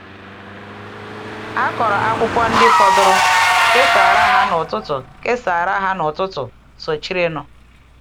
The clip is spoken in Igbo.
A kọrọ akwụkwọ ndị fọdụrụ, kesara ha n’ụtụtụ kesara ha n’ụtụtụ sochirinụ.